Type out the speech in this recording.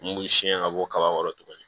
Mun b'u siɲɛ ka bɔ kaba kɔrɔ tuguni